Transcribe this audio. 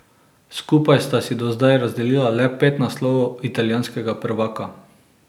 Skupaj sta si do zdaj razdelila le pet naslovov italijanskega prvaka.